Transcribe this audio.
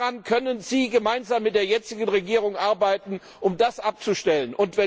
Daran können Sie gemeinsam mit der jetzigen Regierung arbeiten, um das abzustellen.